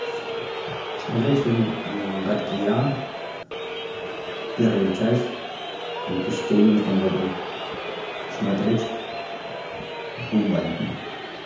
смотреть фильм гадкий я первая часть в две тысячи одиннадцатом году смотреть онлайн